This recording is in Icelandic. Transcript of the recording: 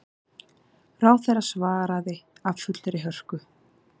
Ráðherra svaraði af fullri hörku.